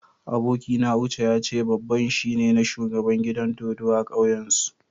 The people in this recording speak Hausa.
Abokina Uche ya ce babban shi na shugaban gidan dodo a'kauyan su.